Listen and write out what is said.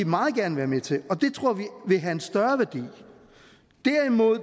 meget gerne være med til og det tror vi vil have en større værdi derimod